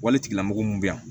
Wale lamɔgɔ mun bɛ yan